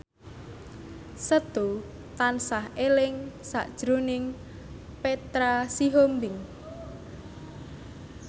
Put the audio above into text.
Setu tansah eling sakjroning Petra Sihombing